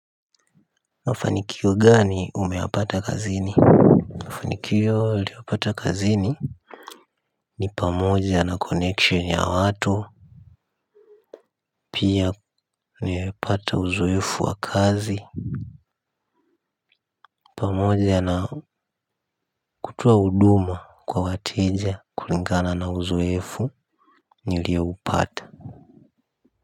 Mafanikio gani umeyapata kazini? Mafanikio niliyopata kazini ni pamoja na connection ya watu pia nimepata uzoefu wa kazi pamoja na kutoa huduma kwa wateja kulingana na uzoefu nilioupata.